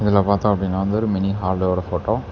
இதுல பாத்ததோ அப்படின்னா வந்து ஒரு மினி ஹாலோட போட்டோ .